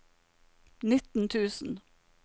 nitten tusen